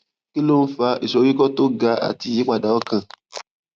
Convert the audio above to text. kí ló ń fa ìsoríkó tó ga àti ìyípadà ọkàn